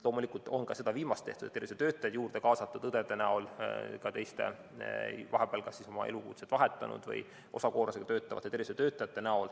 Loomulikult on ka seda viimast tehtud, on kaasatud tervishoiutöötajaid, õdesid, ka kas elukutset vahetanud või osakoormusega töötavaid tervishoiutöötajaid.